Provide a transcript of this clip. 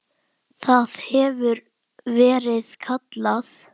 Það hefur verið kallað